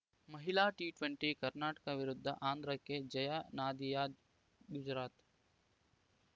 ಮಹಿಳಾ ಟಿಟೆಂಟಿ ಕರ್ನಾಟಕ ವಿರುದ್ಧ ಆಂಧ್ರಕ್ಕೆ ಜಯ ನದಿಯಾದ್‌ ಗುಜರಾತ್‌